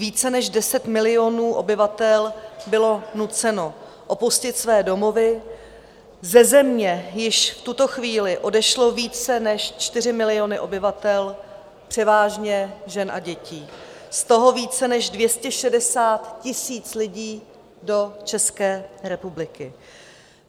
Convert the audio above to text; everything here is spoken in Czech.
Více než 10 milionů obyvatel bylo nuceno opustit své domovy, ze země již v tuto chvíli odešly více než 4 miliony obyvatel, převážně žen a dětí, z toho více než 260 000 lidí do České republiky.